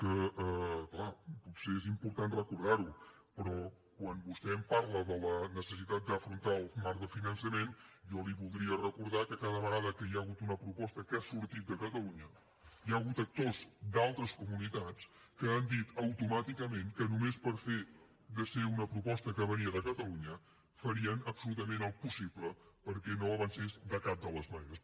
clar potser és important recordar ho però quan vostè em parla de la necessitat d’afrontar el marc del finançament jo li voldria recordar que cada vegada que hi ha hagut una proposta que ha sortit de catalunya hi ha hagut actors d’altres comunitats que han dit automàticament que només pel fet de ser una proposta que venia de catalunya farien absolutament el possible perquè no avancés de cap de les maneres